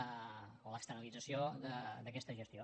o l’externalització d’aquesta gestió